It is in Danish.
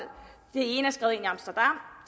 ene er skrevet